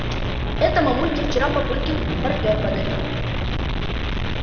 это мамульке вчера папулькин партнёр подарил